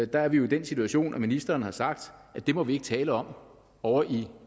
der er vi jo i den situation at ministeren har sagt at det må vi ikke tale om ovre i